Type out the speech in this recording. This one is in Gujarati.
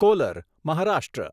કોલર મહારાષ્ટ્ર